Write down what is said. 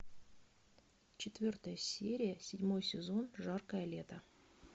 четвертая серия седьмой сезон жаркое лето